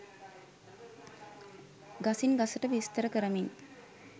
ගසින් ගසට විස්තර කරමින්